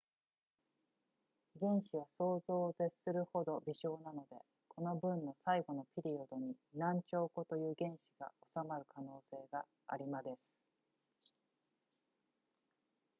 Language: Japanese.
原子は想像を絶するほど微小なのでこの文の最後のピリオドに何兆個という原子が収まる可能性がありまです